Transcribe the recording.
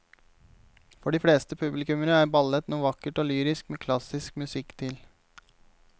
For de fleste publikummere er ballett noe vakkert og lyrisk med klassisk musikk til.